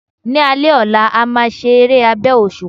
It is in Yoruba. Ni alé ọlá, a máa se eré abẹ́ òṣùpá